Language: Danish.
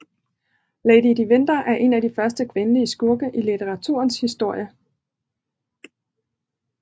Lady de Winther er en af de første kvindelige skurke i litteraturens historie